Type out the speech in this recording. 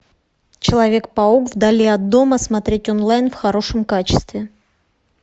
человек паук вдали от дома смотреть онлайн в хорошем качестве